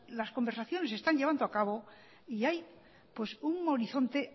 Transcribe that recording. las conversaciones se están llevando acabo y hay un horizonte